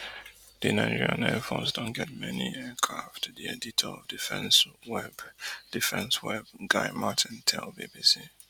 di nigerian air force don get many new aircraft di editor of defence web defence web guy martin tell bbc